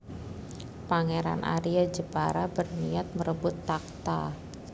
Pangeran Arya Jepara berniat merebut takhta